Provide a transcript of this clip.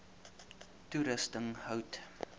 toerusting hout